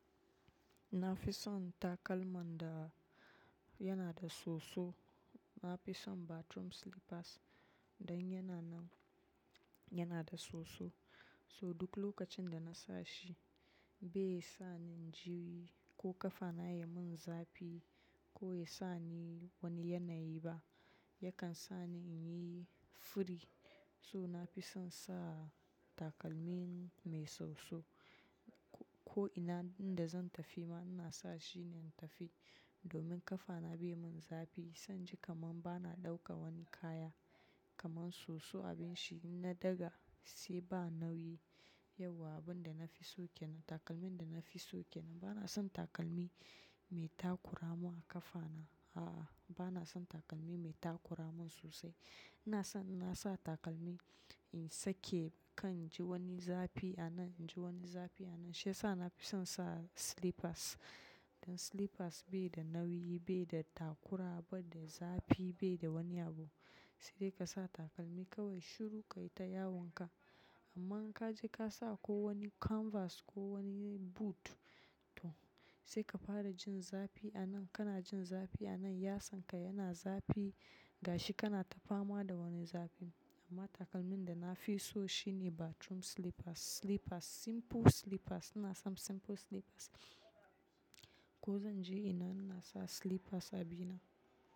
Na fi son takalman da yana da soso. Na fi son bathroom slippers don yana nan, yana da soso. So duk lokacin da na sa shi bai sa ni juyi ko ƙafa na ya mun zafi ko ya sa ni wani yanayi ba. Yakan sa ni in yi furi. So na fi son sa takalmi mai soso. Ko ina inda zan tafi ma, ina sa shi ne in tafi. Domin ƙafa na bai mun zafi. Sai in ji kaman bana ɗauka wani kaya. Kaman soso abin shi in na daga shi ba nauyi. Yauwa abin da na fi so ke nan. Takalmin da na fi so ke nan. Bana son takalmi mai takura mun a ƙafa na. A'a, bana son takalmi mai takura mun sosai. Ina son, ina sa takalmi in sake kan in ji wani zafi a nan, in ji wani zafi a nan. Shi sa na fi son sa slippers. Don slippers bai da nauyi, bai da takura ba, dai zafi bai da wani abu. Sai dai ka sa takalmi kawai shiru ka yi ta yawon ka. Amma in ka je ka sa ko wani canvas ko wani boot to sai ka fara jin zafi a nan, kana jin zafi a nan. Yatsan ka yana zafi. Gashi kana ta fama da wani zafi. Amma takalmin da na fi so shine bathroom slippers. Slippers, simple slippers. Ina son simple slippers. Ko zan je ina ina sa slippers a bi na.